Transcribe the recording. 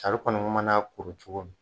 kɔnɔ mana a kuru cogo min